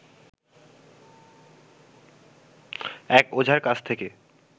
এক ওঝার কাছ থেকে